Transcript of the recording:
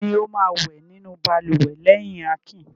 Ta ni ó máa wẹ̀ nínú balùwẹ̀ lẹ́yìn Akin?